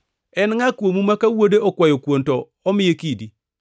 “En ngʼa kuomu ma ka wuode okwayo kuon to omiye kidi?